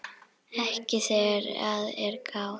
Ekki þegar að er gáð.